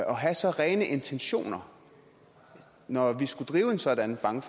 og have så rene intentioner når vi skulle drive en sådan bank